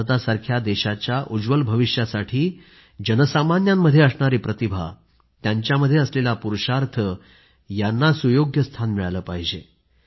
भारतासारख्या देशाच्या उज्ज्वल भविष्यासाठी जनसामान्यांच्या प्रतिभेला सुयोग्य स्थान मिळाले पाहिजे